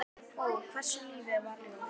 Ó, hversu lífið var ljúft.